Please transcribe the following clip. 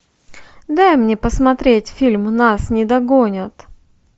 дай мне посмотреть фильм нас не догонят